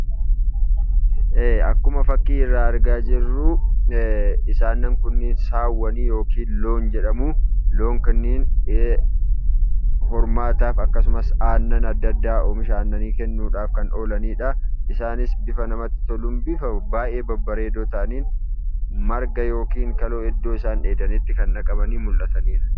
Ee akkuma fakkii irraa argaa jirru isaan kunniin Saawwan yookiin Loon jedhamu. Loon kunniin hormaataaf akkasumas aannan adda addaaf oomisha aannanii kennuudhaaf kan oolanidha . Isaanis bifa namatti toluun yookaan bifa baay'ee babbareedoo ta'aniin marga yookaan kaloo isaan dheedanitti kan dhaqamanii mul'ataniidha.